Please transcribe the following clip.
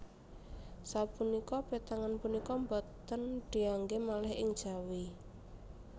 Sapunika pétangan punika boten dianggé malih ing Jawi